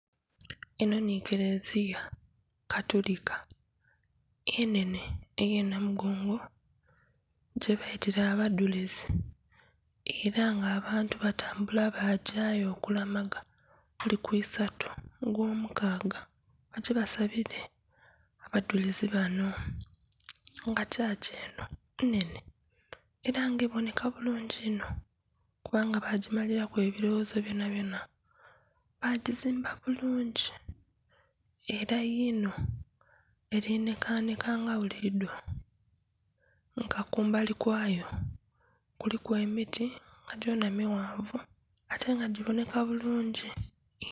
Enho nhi karelia katulika enhenhe ey'enamugongo, gye baitira abadhurizi, era nga abantu batambula bagyaayo okulamaga buli ku eisatu ogw'omukaaga bye basabire abadhurizi bano, nga kyachi enho nnhenhe era nga ebonheka bulungi inho kubanga baagimaliraku ebiroghozo byonabyona. Baagizimba bulungi era yino eri nhekanheka nga bulidho. Nga kumbali kwayo kuliku emiti nga gyona mighanvu atenga kiboneka bulungi inho.